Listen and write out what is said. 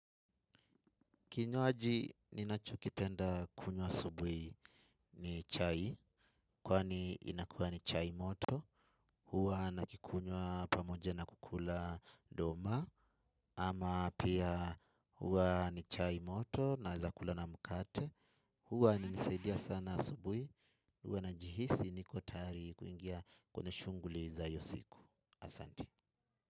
Kinywaji ninachokipenda kunywa asubuhi ni chai, kwani inakuwa ni chai moto, huwa nakikunywa pamoja na kukula doma, ama pia huwa ni chai moto naeza kula na mukate, huwa nisaidia sana asubuhi, huwa najihisi niko tayari kuingia kwenye shunguli za iyo siku. Asanti.